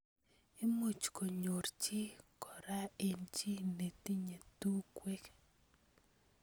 Imuch konyor chi kora eng chi netinye tungwek.